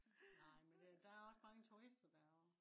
nej men øh der er også mange turister derovre